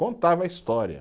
Contava a história.